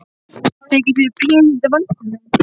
Þykir þér pínulítið vænt um mig?